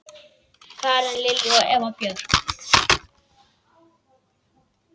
Karen Lilja og Eva Björk.